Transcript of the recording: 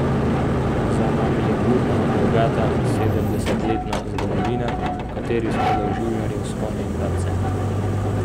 Za nami je burna in bogata sedemdesetletna zgodovina, v kateri smo doživljali vzpone in padce.